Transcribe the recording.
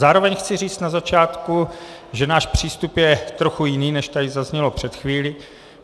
Zároveň chci říct na začátku, že náš přístup je trochu jiný, než tady zaznělo před chvílí.